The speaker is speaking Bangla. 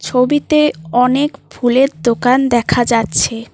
ছবিতে অনেক ফুলের দোকান দেখা যাচ্ছে।